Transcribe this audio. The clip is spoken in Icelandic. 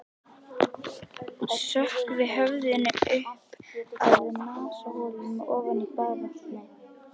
Sökkvi höfðinu upp að nasaholum ofan í baðvatnið.